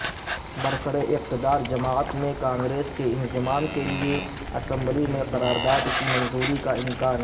برسراقتدار جماعت میں کانگریس کے انضمام کیلئے اسمبلی میں قراداد کی منظوری کا امکان